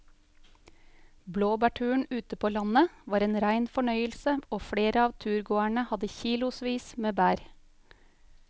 Blåbærturen ute på landet var en rein fornøyelse og flere av turgåerene hadde kilosvis med bær.